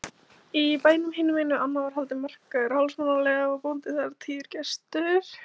Í bænum hinumegin við ána var haldinn markaður hálfsmánaðarlega og var bóndinn þar tíður gestur.